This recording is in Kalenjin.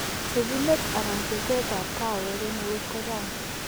Pchechinet anan betet ab kawek en eut ko chang'